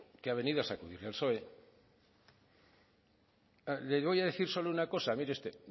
que ha venido a sacudir al psoe les voy a decir solo una cosa mire usted